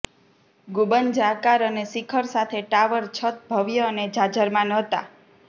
ગુંબજ આકાર અને શિખર સાથે ટાવર છત ભવ્ય અને જાજરમાન હતા